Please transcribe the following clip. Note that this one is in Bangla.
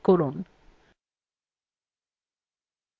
তাহলে এর পাশের check boxএ click করুন